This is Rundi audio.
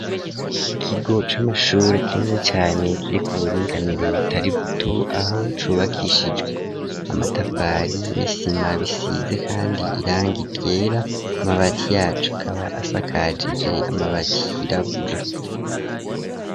Ikigo c'amashure, kinini cane, kiri ku buringanire butari buto; aho cubakishijwe amatafari n'isima, bisize kandi irangi ryera, amabati yaco, akaba asakajije, amabati yirabura.